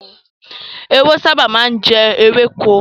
Ehoro sábà má ń jẹ ewéko.